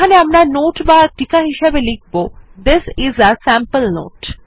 এখানে আমরা নোট বা টিকা হিসাবে লিখব this is a sample note